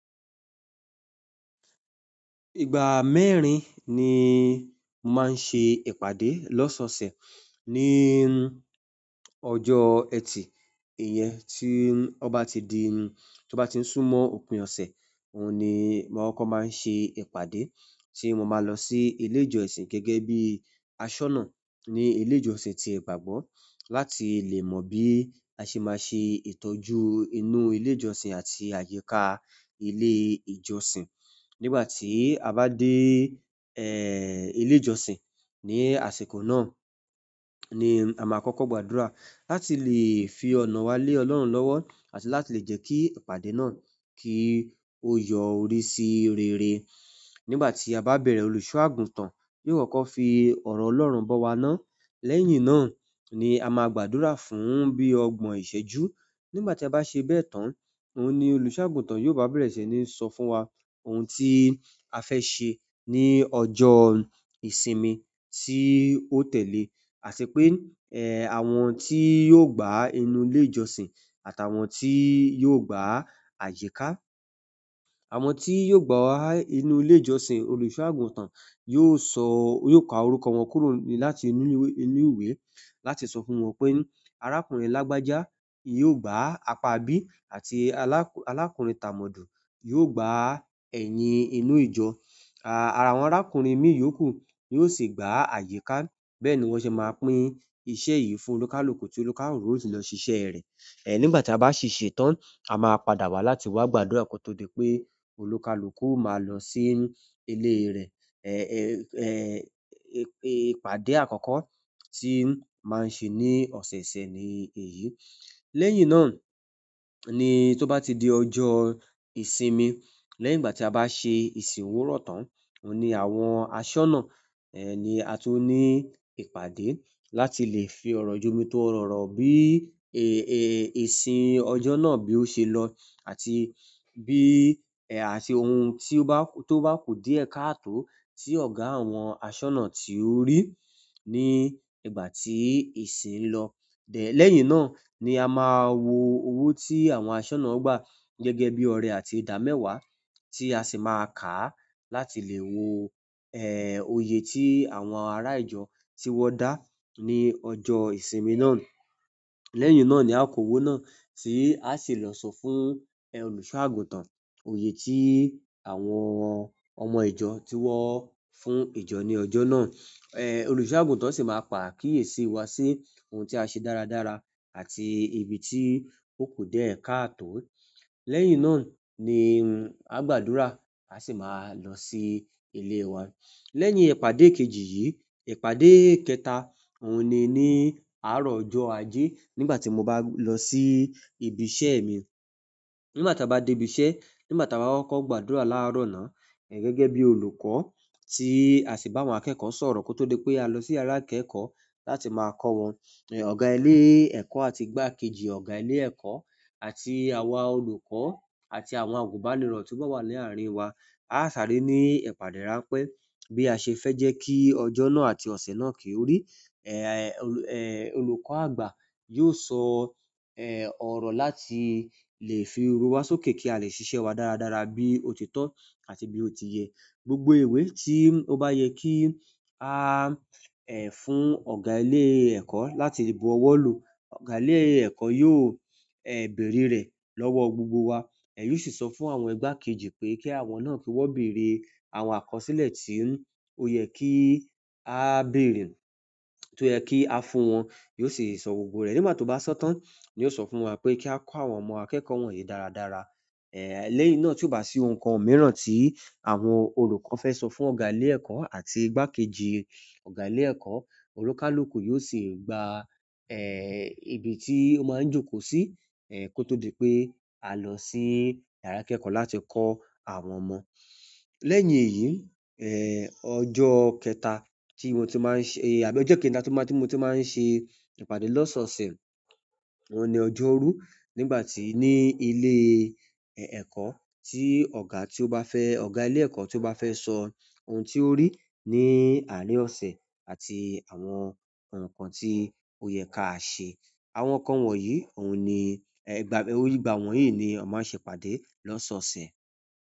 Ìgbà mẹ́rin ni mo máa ń ṣe ìpàdé lọ́sọ̀ọ̀sẹ̀ ní ọjọ́ ẹtì. Ìyẹn tí ó bá ti di, tí ó bá ti n sún mọ òpin ọ̀sẹ̀, òun ni amọ n kọkọ máa ń ṣe ìpàdé. Ti mo máa lọ sí ilé ìjọsìn gẹ́gẹ́ bí aṣọ́nà ní ilé ìjọsìn ti ìgbàgbọ́ láti lè mọ bí a ṣe máa ṣe ìtọ́jú inú ilé ìjọsìn àti àyíká ilé ìjọsìn. Nigbati a ba de ile ìjọ́sìn ni àsìkò náà, ni a maa kọkọ gbàdúrà láti lè fi ọ̀nà wa lè ọlọ́run lọ́wọ́ àti láti le jẹ ki ìpàdé náà ki o yọrí si rere nígbà tí a bá bẹ̀rẹ̀ olùṣọ́-àgùntàn yóò kọ́kọ́ fi ọ̀rọ̀ Ọlọ́run bọ́ wa ná. Lẹ́yìn náà ni a máa gbàdúrà fún bí ọgbọ́n ìṣẹ́jú. Nígbà tí a bá ṣe bẹ́ẹ̀ tán, òun ni olùṣọ́-àgùntàn yóò bá bẹ̀rẹ̀ sí ní sọ fún wa ohun tí a fẹ́ ṣe ní ọjọ́ ìsinmi tí ó tẹ̀lé, àṣẹ pé, àwọn tí yóò gbá inú ilé ìjọsìn àtàwọn tí yóò gbá àyíká. Àwọn tí yóò gbá inú ilé ìjọsìn, olùṣọ́-àgùntàn yóò sọ, yóò ka orúkọ wọn kúrò láti inú, inú ìwé láti sọ fún wọn pé arákùnrin lágbájá yóò gbá apá bí àti alá-alákùnrin Tàmọ́dù yóò gbá ẹ̀yín inú ìjọ. Àwọn arákùnrin mí yòókù ni yóò sì gbá àyíká. Bẹ́ẹ̀ ni wọ́n ṣe máa pín iṣẹ́ yìí fún olúkalúkù tí olúkalúkù ó sì lọ ṣiṣẹ́ rẹ̀. Nigbati a ba si ṣetán à maa padà wá láti wa gbàdúrà ko to di pe oníkálukú o maa lọ si ile rẹ ẹ̀, ẹ́, ìpàdé àkọ́kọ́ tí ń máa ń ṣe ní ọ̀sẹ̀ẹ̀sẹ̀ ni èyí. Lẹ́yìn náà ni tó bá ti di ọjọ́ ìsinmi, lẹ́yìn ìgbà tí a bá ṣe ìsìn òwúrọ̀ tán, òun ni àwọn aṣọ́nà, ni a tun ní ìpàdé láti lè fi ọ̀rọ̀ jómi tooro ọ̀rọ̀ bí, ìsìn ọjọ́ náà bí ó ṣe lọ àti bí àti ohun tí ó bá, tó bá ku diẹ kààtò tí ọ̀gá àwọn aṣọ́nà tí ó rí ní ìgbà tí ìsìn ń lọ. Lẹ́yìn náà ni a máa wo owó tí àwọn aṣọ́nà gbà gẹ́gẹ́ bí ọrẹ àti ìdámẹ́wàá tí a sì máa kàá láti lè wo, oyè tí àwọn ará ìjọ ti wọ́n dá ní ọjọ́ ìsinmi náà. Lẹ́yìn náà ni a k'owó náà tí a sì lọ sọ fún olùṣọ́-àgùntàn oyè tí àwọn ọmọ ìjọ ti wọ́ fún ìjọ ní ọjọ́ náà.olùṣọ́-àgùntàn sì máa pa kíyèsi wá sí ohun tí a ṣe dáradára àti ibi tí ó ku diẹ kaàtò. Lẹ́yìn náà ni a gbàdúrà, a sì máa lọ sí ilé wa. Lẹ́yìn ìpàdé kejì yìí, ìpàdé kẹta, òun ni ní àárọ̀ ọjọ́ ajé nígbà tí mo bá lọ sí ibi iṣẹ́ mi. Nigbati a ba de ibi iṣẹ́, nigbati a ba kọkọ gbàdúrà laarọ na, gẹ́gẹ́ bi olùkọ́ ti a si ba àwọn akẹẹkọ sọ̀rọ̀ ko to di pe a lọ si yara ikẹẹkọ láti maa kọ wọ́n ọ̀gá ilé ẹ̀kọ́ àti igbákejì ọ̀gá ilé ẹ̀kọ́ àti àwa olùkọ́ àti àwọn àgùnbánirọ̀ tó bá wà ní àárín wa, a sáré ní ìpàdé ráńpẹ́ bí a ṣe fẹ́ jẹ́ kí ọjọ́ náà àti ọ̀sẹ̀ náà kí ó rí. Olùkọ́ àgbà yóò sọ, ọ̀rọ̀ láti lè fi ooru wa sókè kí a lè ṣiṣẹ́ wa dáradára bí ó ti tọ́ àti bí ó ti yẹ. Gbogbo ìwé tí ó bá yẹ kí a, fún ọ̀gá ilé ẹ̀kọ́ láti bu ọwọ́ lò, ọ̀gá ilé ẹ̀kọ́ yóò beèrè rẹ̀ lọ́wọ́ gbogbo wa. Yóò sì sọ fún àwọn igbákejì pé kí àwọn náà kí wọ́n bèrè àwọn àkọsílẹ̀ tí ó yẹ kí á bèrè, tó yẹ kí á fún wọn. Yóò sì sọ gbogbo rẹ̀. Nígbà tó bá sọ tán, yóò sọ fún wa pé kí a kọ́ àwọn ọmọ akẹ́kọ̀ọ́ wọ̀nyí dáradára. Lẹ́yìn náà tí ó bá sí ohun kan mìíràn tí àwọn olùkọ́ fẹ́ sọ fún ọ̀gá ilé ẹ̀kọ́ àti igbákejì ọ̀gá ilé ẹ̀kọ́, olúkalúkù yóò sì gba, ibi tí ó máa ń jókòó sí, kó tó di pé a lọ sí yàrá ìkẹ́kọ̀ọ́ láti kọ́ àwọn ọmọ. Lẹ́yìn èyí, ọjọ́ kẹta tí mo ti máa ń ṣe àbí ọjọ́ kẹta tí mo tun máa ń ṣe ìpàdé lọ́sọọ̀sẹ̀, òun ni ọjọ́rú nígbà tí ní ilé, ẹ̀kọ́ tí ọ̀gá tí ó bá fẹ́, ọ̀gá ilé ẹ̀kọ́ tí ó bá fẹ́ sọ ohun tí ó rí ní àárín ọ̀sẹ̀ àti àwọn ohun kan tí ó yẹ ká ṣe. Àwọn kan wọ̀nyí, òun ni ìgbà wọ́nyìí ni a máa ń ṣe ìpàdé lọ́sọọ̀sẹ̀.